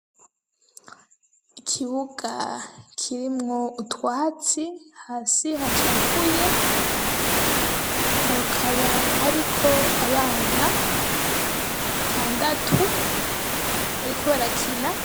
Ikibuga kirimwo utwatsi, hasi hacafuye, hakaba hariko abana batandatu bariko barakina.